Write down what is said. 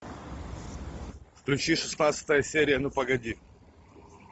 включи шестнадцатая серия ну погоди